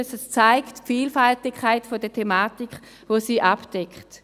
Sie zeigt die Vielfalt der Thematiken, die diese Stelle abdeckt.